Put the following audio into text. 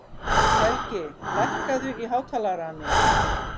Helgi, lækkaðu í hátalaranum.